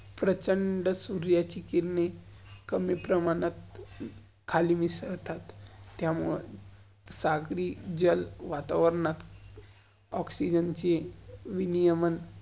प्रचंड सुर्याची किरने, कमी प्रमाणात खाली मिसल्तात, त्यामुळं, सागरी-जल वातावरनात, ऑक्सीजन ची विनियमन